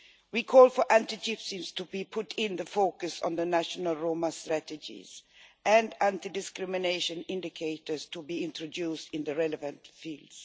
We call for anti Gypsyism to be put in the focus on the national Roma strategies, and anti discrimination indictors to be introduced in the relevant fields.